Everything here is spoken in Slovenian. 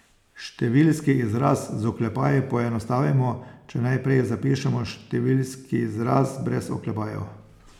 Številski izraz z oklepaji poenostavimo, če najprej zapišemo številski izraz brez oklepajev.